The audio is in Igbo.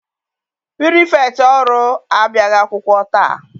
Pirifektị ọrụ abịaghị akwụkwọ taa.